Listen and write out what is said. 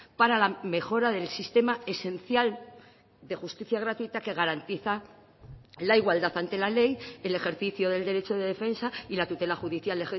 para la mejora del sistema esencial de justicia gratuita que garantiza la igualdad ante la ley el ejercicio del derecho de defensa y la tutela judicial